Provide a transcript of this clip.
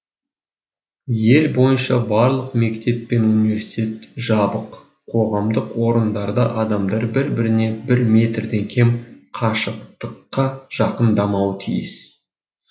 ел бойынша барлық мектеп пен университет жабық қоғамдық орындарда адамдар бір біріне бір метрден кем қашықтыққа жақындамауы тиіс